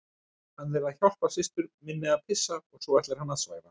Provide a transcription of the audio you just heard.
Hann er að hjálpa systur minni að pissa og svo ætlar hann að svæfa hana